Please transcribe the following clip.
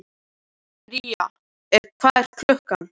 Bría, hvað er klukkan?